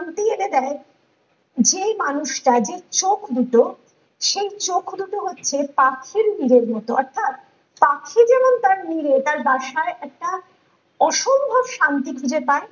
এনে দেয় যে মানুষটা যে চোখ দুটো সেই চোখ দুটো হচ্ছে পাখি নীড়ের মতো অর্থাৎ পাখির যেমন তার নীড়ের তার বাসায় একটা অসম্ভব শান্তি খুঁজে পায়